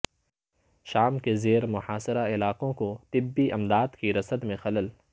شام کے زیر محاصرہ علاقوں کو طبی امداد کی رسد میں خلل